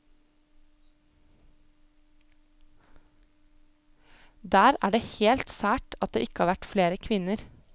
Der er det helt sært at det ikke har vært flere kvinner.